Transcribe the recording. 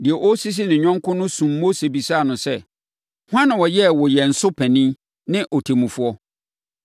“Deɛ ɔresisi ne yɔnko no sum Mose bisaa no sɛ, ‘Hwan na ɔyɛɛ wo yɛn so panin ne ɔtemmufoɔ?